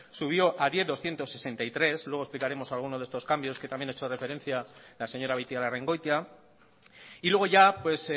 subió a diez millónes doscientos sesenta y tres mil luego explicaremos algunos de estos cambios que también ha hecho referencia la señora beitialarrangoitia luego ya pues